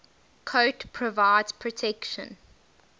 coat provides protection